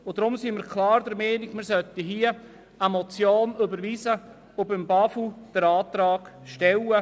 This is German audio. Deshalb sind wir klar der Meinung, wir sollten eine Motion überweisen und dem BAFU Antrag stellen.